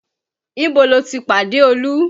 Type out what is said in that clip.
Ibo lo ti pàdé Olú?